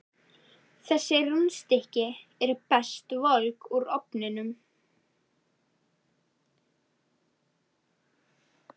Þessi rúnstykki eru best volg úr ofninum.